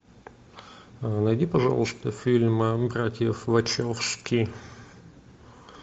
найди пожалуйста фильм братьев вачовски